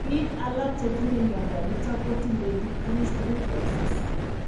Biik alak chetinye mnyondo niton ko tinye decreased reflexes